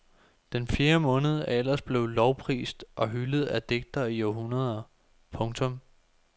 Den fjerde måned er ellers blevet lovprist og hyldet af digtere i århundreder. punktum